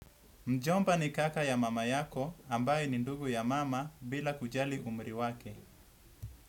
Mjomba ni kaka ya mama yako ambaye ni ndugu ya mama bila kujali umri wake.